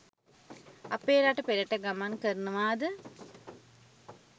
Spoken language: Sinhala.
අපේ රට පෙරට ගමන් කරනවා ද